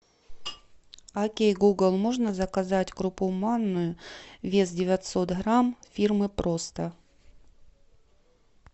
окей гугл можно заказать крупу манную вес девятьсот грамм фирмы просто